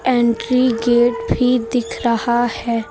Entry gate भी दिख रहा है।